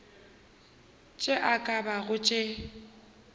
tše e ka bago tše